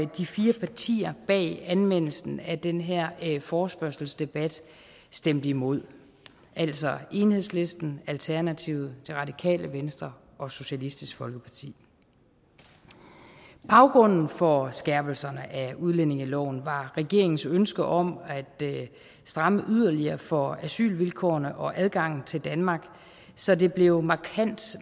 de fire partier bag anmeldelsen af den her forespørgselsdebat stemte imod altså enhedslisten alternativet det radikale venstre og socialistisk folkeparti baggrunden for skærpelserne af udlændingeloven var regeringens ønske om at stramme yderligere for asylvilkårene og adgangen til danmark så det blev markant